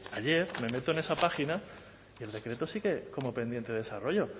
ayer me meto en esa página y el decreto sigue como pendiente de desarrollo